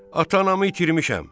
Ata-anamı itirmişəm.